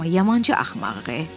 Amma yamanca axmağıq.